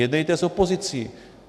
Jednejte s opozicí.